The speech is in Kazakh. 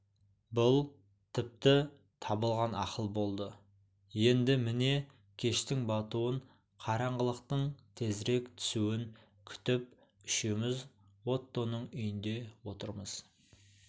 бұл тіпті табылған ақыл болды енді міне кештің батуын қараңғылықтың тезірек түсуін күтіп үшеуміз оттоның үйінде отырмыз